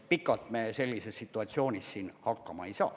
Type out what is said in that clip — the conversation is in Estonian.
Pikalt me sellises situatsioonis siin hakkama ei saa.